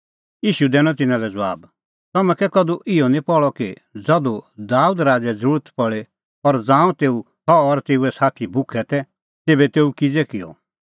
ईशू दैनअ तिन्नां लै ज़बाब तम्हैं कै कधू इहअ निं पहल़अ कि ज़धू दाबेद राज़ै ज़रुरत पल़ी और ज़ांऊं सह और तेऊए साथी भुखै तै तेभै तेऊ किज़ै किअ